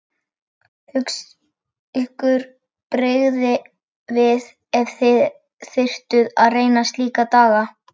Ykkur brygði við ef þið þyrftuð að reyna slíka daga!